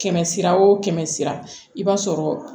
Kɛmɛ sira o kɛmɛ sira i b'a sɔrɔ